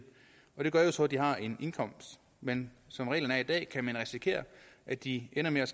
det gør så at de har en indkomst men som reglerne er i dag kan man risikere at de ender med